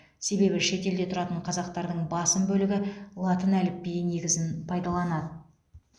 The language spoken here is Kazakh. себебі шетелде тұратын қазақтардың басым бөлігі латын әліпбиі негізін пайдаланады